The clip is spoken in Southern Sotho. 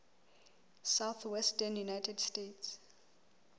southwestern united states